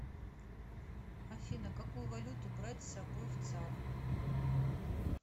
афина какую валюту брать с собой в цар